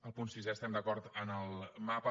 al punt sisè estem d’acord amb el mapa